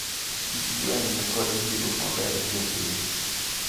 Chich gweng` nikod winjruok maber gi jopiny.